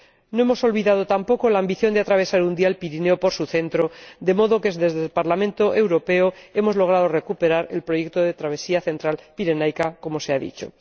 No hemos olvidado tampoco la ambición de atravesar un día el Pirineo por su centro, de modo que desde el Parlamento Europeo hemos logrado recuperar el proyecto de travesía central pirenaica, como se ha dicho.